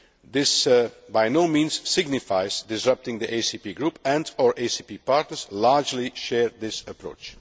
This by no means signifies disrupting the ACP Group, and our ACP partners largely share this approach.